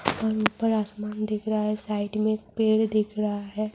اوپر اسمان دکھ رہا ہے سائیڈ میں پیڈ دکھ رہا ہے-